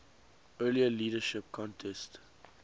earlier leadership contest